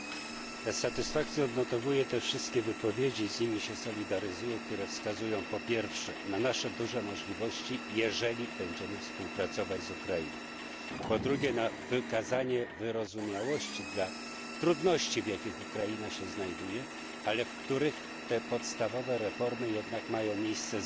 Z satysfakcją odnotowuję te wszystkie wypowiedzi i solidaryzuję się z nimi które wskazują, po pierwsze, na nasze duże możliwości, jeżeli będziemy współpracować z Ukrainą, po drugie, na wykazanie wyrozumiałości dla trudności, w jakich Ukraina się znajduje, ale w których te podstawowe reformy jednak mają miejsce